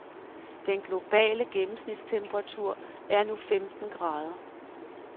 Den globale gennensmitstemperatur er nu femten grader.